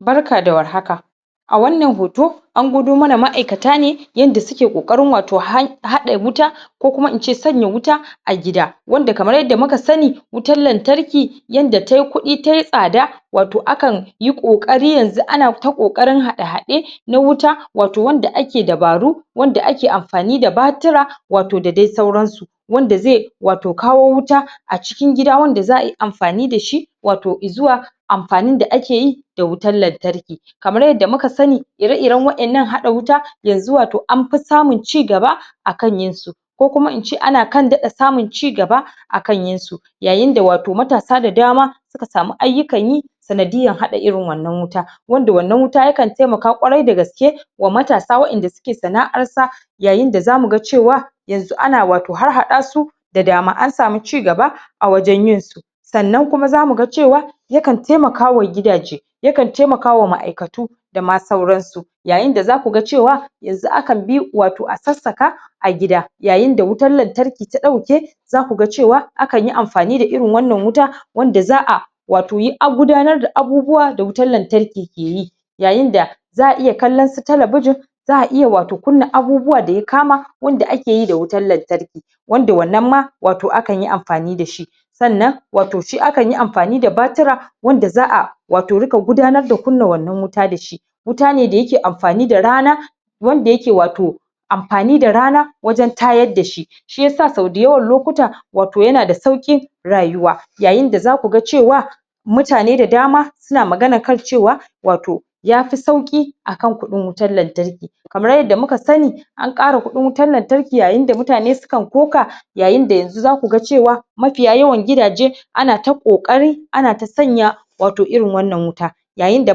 barka da war haka a wannan hoto an gwado mana ma'aikata ne yanda suke kokarin wato haɗa wuta ko kuma ince sanya wuta a gida wanda kamar yadda muka sani wutan lantarki yanda tayi kuɗi tayi tsada wato akan yi kokari yanzu ana ta kokarin haɗa haɗe na wuta wato na wanda ake dabaro wanda ake amfani da batura wato da dai sauran su wanda zai wato kawo wuta a cikin gida wanda za'ayi amfani dashi wato zuwa amfani da akeyi da wutan lantarki kamar yadda muka sani ire iren wa'ennan haɗa wuta yanzu wato an fi samun cigaba akan yin su ko kuma ince ana kan samun cigaba akan yin su yayin da wato matasa da dama suka samu aiyukan yi sanadiyan haɗa irin wannan wuta wanda wannan wuta yakan taimaka ƙwarai dagaske wa matasa wa'enda suke sana'ar sa yayin da zamu ga cewa yanzu ana wato harhada su da jami'an samun cigaba a wajen yin su sannan kuma zamu ga cewa yakan taimaka wa gidaje yakan taimaka wa ma'aikatu dama sauran su yayin da zaku ga cewa yanzu akan bi wato a sassaka a gida yayin da wutan lantarki ta dauke zaku ga cewa akanyi amfani da irin wannan wuta wanda za'a wato yi a gudanar da abubuwa da wutan lantarki ke yi yayin da za'a iya kallan su telebijin za'a iya wato kunnan abubuwa da ya kama wanda akeyi da wutan lantarki wanda wannan ma wato akanyi amfani dashi sannan wato shi akanyi amfani da batura wanda za'a wato ringa gudanar kunna wannan wuta dashi wuta ne da yake amfani da rana wanda yake wato amfani da rana wajen tayar dashi shiyasa sau da yawan lokuta wato yana da saukin rayuwa yayin da zaku ga cewa mutane da dama suna magana kan cewa wato yafi sauki akan kuɗin wutan lantarki kamar yadda muka sani an kara wutan lantarki yayin da mutane sukan ƙoka yayin da yanzu zaku ga cewa mafiya yawan gidaje ana ta kokarin ana ta sanya wato irin wannan wuta yayin da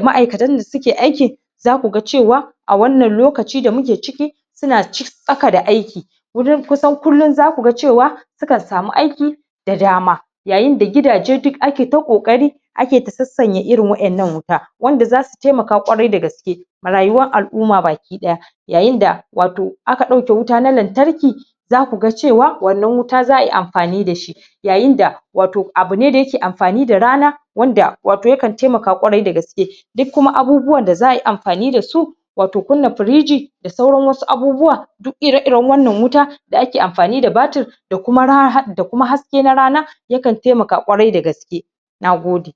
ma'aikatan dasuke aikin zakuga cewa a wannan lokaci da muke ciki suna tsaka da aiki wurin kusan kullun zakuga cewa sukan samu aiki da dama yayi da gidaje duk ake ta kokari ake ta sassanya irin wa'ennan wuta wanda zasu taimata ƙwarai dagaske a rayuwan al'umma baki daya yayin da wato in aka dauke wuta na lantarki zakuga cewa wannan wuta za'ayi amfani dashi yayin da wato abu ne da yake amfani da rana wanda yakan taimaka ƙwarai dagaske duk kuma abubuwan da za'ayi amfani da su wato kunna firiji da sauran wasu abubuwa duk ire iren wannan wuta da ake amfani da batir da kuma haske na rana yakan taimaka ƙwarai dagaske Nagode